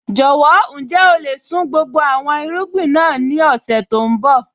Jọ̀wọ́, ǹjẹ́ o lè sun gbogbo àwọn irúgbìn náà ní ọ̀sẹ̀ tó ń bọ̀?